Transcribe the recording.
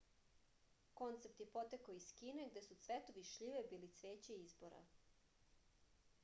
koncept je potekao iz kine gde su cvetovi šljive bili cveće izbora